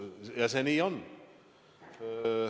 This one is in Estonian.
Nii see on.